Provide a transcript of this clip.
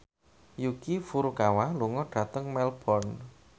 Yuki Furukawa lunga dhateng Melbourne